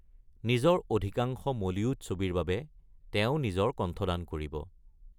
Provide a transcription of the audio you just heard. নিজৰ অধিকাংশ মলিউড ছবিৰ বাবে তেওঁ নিজৰ কণ্ঠদান কৰিব।